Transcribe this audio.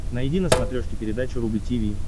найди на смотрешке передачу рубль ти ви